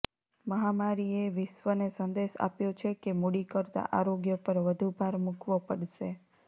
મહામારીએએ વિશ્વને સંદેશ આપ્યો છે કે મૂડી કરતા આરોગ્ય પર વધુ ભાર મુકવો પડશે